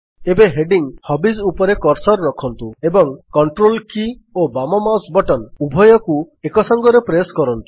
ଏବେ ହେଡିଙ୍ଗ୍ ହବିଜ୍ ଉପରେ କର୍ସର୍ ରଖନ୍ତୁ ଏବଂ Ctrl କୀ ଓ ବାମ ମାଉସ୍ ବଟନ୍ ଉଭୟକୁ ଏକସଙ୍ଗରେ ପ୍ରେସ୍ କରନ୍ତୁ